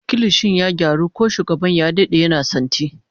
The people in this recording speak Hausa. Kilishin ya gyaru, ko shugaban ya dade yana santi